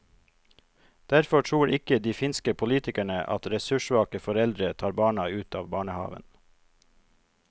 Derfor tror ikke de finske politikerne at ressurssvake foreldre tar barna ut av barnehaven.